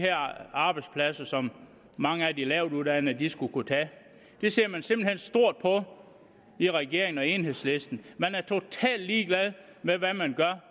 arbejdspladser som mange af de lavtuddannede skulle kunne tage det ser man simpelt hen stort på i regeringen og i enhedslisten man er totalt ligeglad med hvad man gør